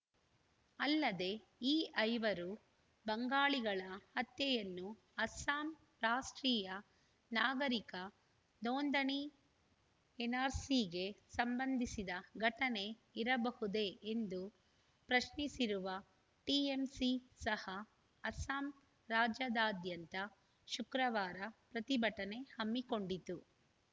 ಅಲ್ಲದೆ ಈ ಐವರು ಬಂಗಾಳಿಗಳ ಹತ್ಯೆಯನ್ನು ಅಸ್ಸಾಂ ರಾಷ್ಟ್ರೀಯ ನಾಗರಿಕರ ನೋಂದಣಿಎನ್‌ಆರ್‌ಸಿಗೆ ಸಂಬಂಧಿಸಿದ ಘಟನೆ ಇರಬಹುದೇ ಎಂದು ಪ್ರಶ್ನಿಸಿರುವ ಟಿಎಂಸಿ ಸಹ ಅಸ್ಸಾಂ ರಾಜ್ಯಾದಾದ್ಯಂತ ಶುಕ್ರವಾರ ಪ್ರತಿಭಟನೆ ಹಮ್ಮಿಕೊಂಡಿತು